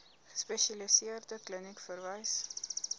gespesialiseerde kliniek verwys